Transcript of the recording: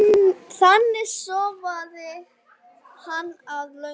Þannig sofnaði hann að lokum.